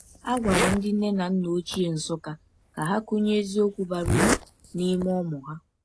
A gwara ndị nne na nna ochie Nsukka ka ha kụnye eziokwu bara uru n’ime ụmụ ha.